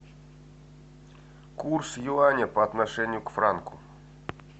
курс юаня по отношению к франку